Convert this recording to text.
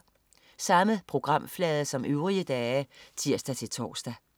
Samme programflade som øvrige dage (tirs-tors)